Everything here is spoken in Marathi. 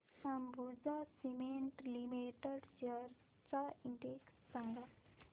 अंबुजा सीमेंट लिमिटेड शेअर्स चा इंडेक्स सांगा